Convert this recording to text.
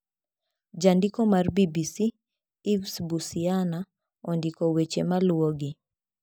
Jandiko mar BBC, Yves Bucyana, ondiko weche maluwogi.